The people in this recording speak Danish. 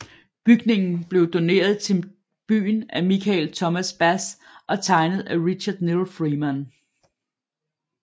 Bygningen blev doneret til byen af Michael Thomas Bass og tegnet af Richard Knill Freeman